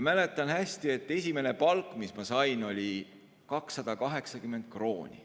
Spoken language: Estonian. Mäletan hästi, et esimene palk, mille ma sain, oli 280 krooni.